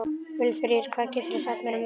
Vilfríður, hvað geturðu sagt mér um veðrið?